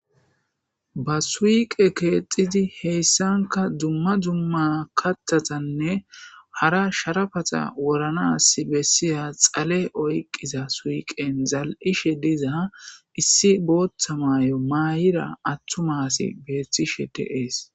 Ba suuqqe kexxidi hessanka dumma dumma kaththatanne hara sharapata wodhdhanas bessiya dhale oyqqiza suqqen zalishshe diiza issi booththa maayo maydi atuma asi bettishe de'esi.